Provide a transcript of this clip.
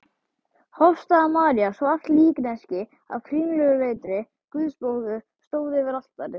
Hofsstaða-María, svart líkneski af kringluleitri Guðsmóður, stóð fyrir altari.